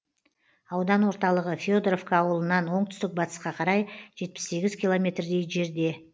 аудан орталығы федоровка ауылынан оңтүстік батысқа қарай жетпіс сегіз километрдей жерде